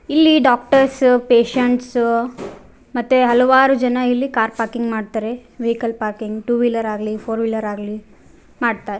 ಇಲ್ಲಿ doctors patients ಮತ್ತೆ ಹಲವಾರು ಜನ ಇಲ್ಲಿ ಕಾರ್ ಪಾರ್ಕಿಂಗ್ ಮಾಡ್ತಾರೆ ವೆಹಿಕಲ್ ಪಾರ್ಕಿಂಗ್ ಟೂ ವೀಲರ್ ಆಗ್ಲಿ ಫೋರ್ ವೀಲರ್ ಆಗ್ಲಿ ಮಾಡ್ತಾರೆ.